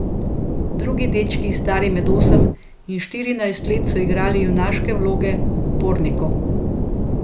Drugi dečki, stari med osem in štirinajst let, so igrali junaške vloge upornikov.